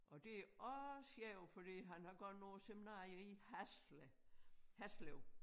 Og det også sjovt fordi han har gået på æ seminarie i Haslev Haslev